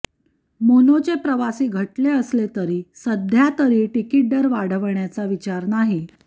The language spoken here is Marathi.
मोनोचे प्रवासी घटले असले तरी सध्या तरी तिकीट दर वाढवण्याचा विचार नाही